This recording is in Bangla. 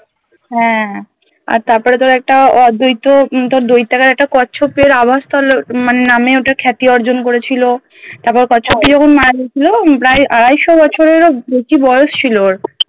হ্যা আর তারপরে তোর একটা আহ দৈত হম তোর দৈত্যাকার একটা কচ্ছপের আওয়াজ মানে নামে ওটা খ্যাতি অর্জন করেছিল তারপর কচ্ছপটি যখন মারা গেছিলো হম প্রায় আড়াইশো বছরেরো বেশি বয়স ছিল ওর